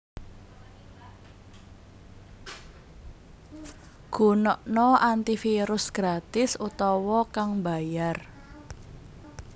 Gunakna antivirus gratis utawa kang mbayar